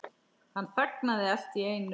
Hann þagnaði allt í einu.